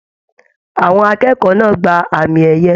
Àwọn akẹ́kọ̀ọ́ náà gbà àmi ẹyẹ.